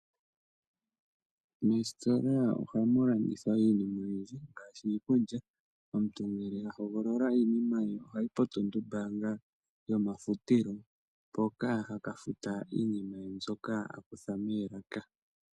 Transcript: Moositola ohamu landithwa iinima oyindji ngaashi iikulya . Omuntu ngele a hogolola iinima ye ohayi po tulumbaanga yomafutilo, mpoka haka futa iinima ye mbyoka a kutha moolaka.